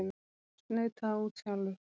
Snautaðu út sjálfur!